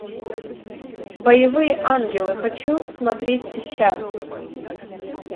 боевые ангелы хочу смотреть сейчас